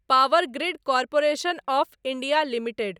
power grid corporation of India limited